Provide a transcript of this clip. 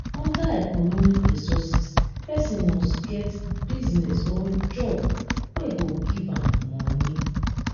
under economic resources persin must get business or job wey go give am moni